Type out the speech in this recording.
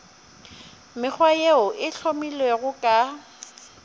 mekgwa yeo e hlomilwego ka